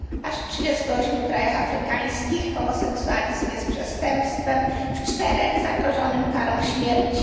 Aż w 38 krajach afrykańskich homoseksualizm jest przestępstwem, w czterech zagrożonym karą śmierci.